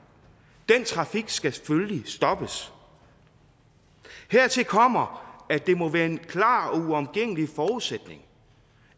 den trafik skal selvfølgelig stoppes hertil kommer at det må være en klar og uomgængelig forudsætning